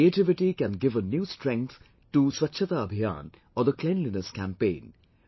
Creativity can give a new strength to Swachhata Abhiyan or cleanliness campaign